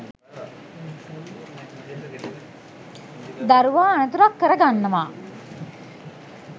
දරුවා අනතුරක් කර ගන්නවා.